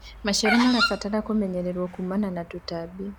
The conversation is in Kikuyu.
maciaro marabatara kumenyererwo kumana na tũtambi